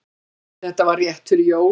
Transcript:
Þetta var rétt fyrir jól.